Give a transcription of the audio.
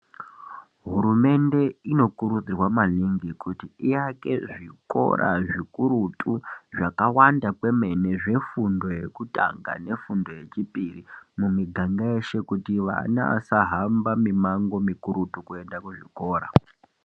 Hurumende inokurudzirwa mamingi kuti awake zvikora zvikurutu zvakawanda kwemene zvefundo yekutanga nefundo yechipiri muniganga yeshe kuti vana vasahamba mimango mikurutu kuenda kuzvikora.